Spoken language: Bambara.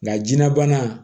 Nka jinɛ bana